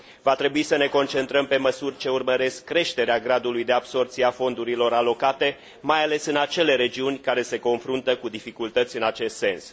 Va trebui să ne concentrăm pe măsuri ce urmăresc creșterea gradului de absorbție a fondurilor alocate, mai ales în acele regiuni care se confruntă cu dificultăți în acest sens.